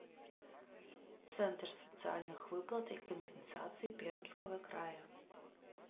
центр социальных выплат и компенсаций пермского края